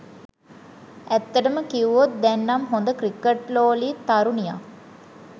ඇත්තටම කිව්වොත් දැන් නම් හොඳ ක්‍රිකට්ලෝලී තරුණියක්.